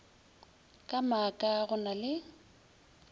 ka maaka go na le